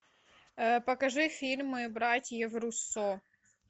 покажи фильмы братьев руссо